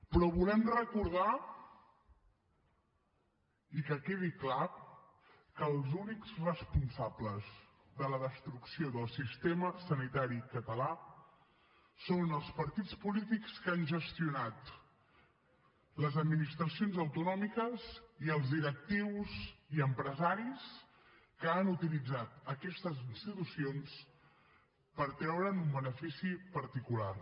però volem recordar i que quedi clar que els únics responsables de la destrucció del sistema sanitari català són els partits polítics que han gestionat les administracions autonòmiques i els directius i empresaris que han utilitzat aquestes institucions per treure’n un benefici particular